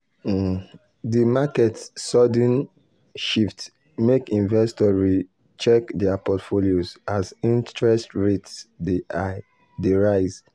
um di market sudden um shift make investors re-check dir portfolios as interest rates dey rise.